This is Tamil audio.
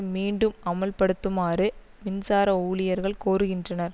மீண்டும் அமல்படுத்துமாறும் மின்சார ஊழியர்கள் கோருகின்றனர்